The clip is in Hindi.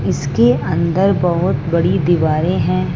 इसके अंदर बहोत बड़ी दीवारें हैं।